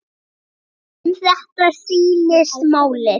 Um þetta snýst málið.